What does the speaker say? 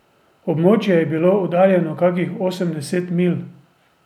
Območje je bilo oddaljeno kakih osemdeset milj.